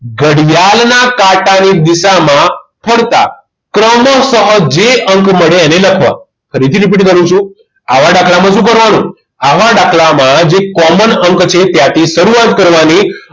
ઘડિયાળ ના કાંટા ની દિશા માં ફરતા ક્રમશ જે અંક મળે એને લખવા ફરીથી repeat કરું છુ આવા દાખલામાં શું કરવાનું આવા દાખલામાં જે common અંક છે ત્યાંથી શરૂવાત કરવાની